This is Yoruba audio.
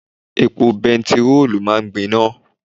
Epo bẹntiróòlù máa ń gbiná.